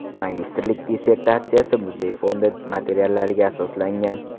Magistrlik dissertatsiyasi muzey fondi materiallariga asoslangan.